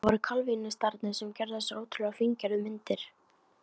Það voru kalvínistarnir sem gerðu þessar ótrúlega fíngerðu myndir.